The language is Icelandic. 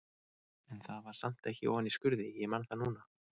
En það var samt ekki ofan í skurði, ég man það núna.